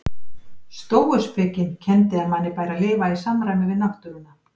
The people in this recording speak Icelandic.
Stóuspekin kenndi að manni bæri að lifa í samræmi við náttúruna.